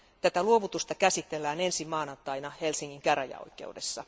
Tätä luovutusta käsitellään ensi maanantaina Helsingin käräjäoikeudessa.